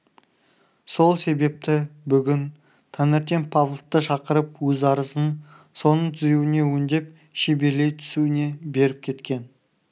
сол себепті бүгін таңертең павловты шақырып өз арызын соның түзеуіне өңдеп шеберлей түсуіне беріп кеткен